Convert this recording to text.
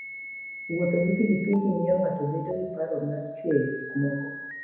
Wuotho gi pikipiki miyo ng'ato bedo gi paro mar chweyo gik moko.